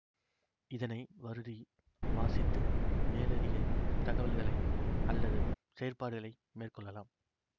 இதனை வருடி வாசித்து மேலதிக தகவல்களை அல்லது செயற்பாடுகளை மேற்கொள்ளலாம்